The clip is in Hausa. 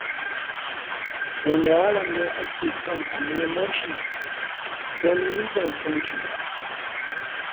Wane yaro ne ake son a nemo shi? Don ni ban ma sani ba.